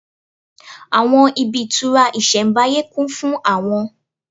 Àwọn ibi ìtura isembáyé kún fún àwọn